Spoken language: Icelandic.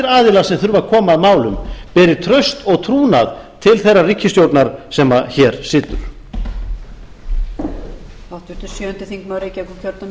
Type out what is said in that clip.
aðilar sem þurfa að koma að málum beri traust og trúnað til þeirrar ríkisstjórnar sem hér situr